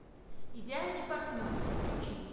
идеальный партнер подключи